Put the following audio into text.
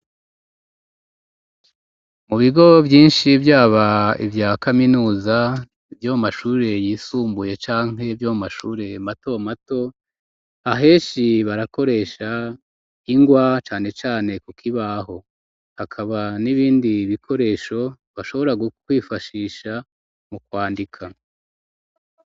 Mu bigo vyinshi vyaba ivya kaminuza vyo mu mashure yisumbuye canke vyo mu mashure mato mato, aheshi barakoresha ingwa cane cane kukibaho, hakaba n'ibindi bikoresho bashobora kwifashisha mu kwandika.